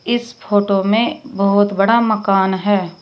इस फोटो में बहुत बड़ा मकान है।